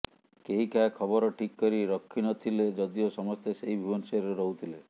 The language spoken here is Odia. କେହି କାହା ଖବର ଠିକ୍ କରି ରଖିନଥିଲେ ଯଦିଓ ସମସ୍ତେ ସେଇ ଭୁବନେଶ୍ୱରରେ ରହୁଥିଲେ